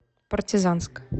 партизанск